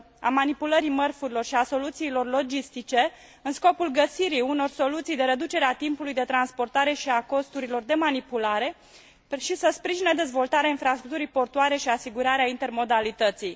manipulării mărfurilor și a soluțiilor logistice în scopul găsirii unor soluții de reducere a timpului de transportare și a costurilor de manipulare și să sprijine dezvoltarea infrastructurii portuare și asigurarea intermodalității.